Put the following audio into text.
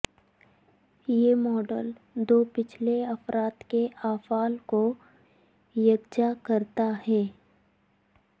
یہ ماڈل دو پچھلے افراد کے افعال کو یکجا کرتا ہے